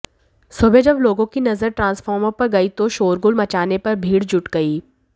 सुबह जब लोगों की नजर ट्रांसफार्मर पर गई तो शोरगुल मचाने पर भीड़ जुट गई